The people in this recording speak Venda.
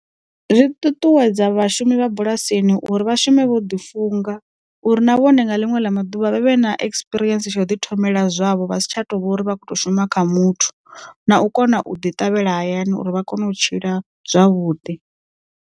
Zwi ṱuṱuwedza vhashumi vha bulasini uri vha shume vho ḓi funga, uri na vhone nga ḽiṅwe ḽa maḓuvha vha vhe na ekisipirientsi tsha u ḓi thomela zwavho vhasi tsha tovha uri vha khou to shuma kha muthu, na u kona u ḓi ṱavhela hayani uri vha kone u tshila zwavhuḓi.